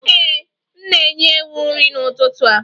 Ee, m na-enye ewu nri n'ụtụtụ a